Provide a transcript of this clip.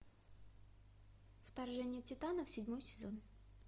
вторжение титанов седьмой сезон